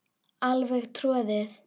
Alveg troðið.